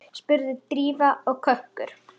spurði Drífa og kökkur